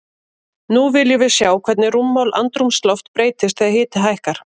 Nú viljum við sjá hvernig rúmmál andrúmsloft breytist þegar hiti hækkar.